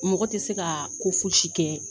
Mɔgɔ tɛ se ka ko fosi kɛ.